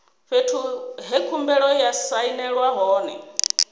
fhethu he khumbelo ya sainelwa hone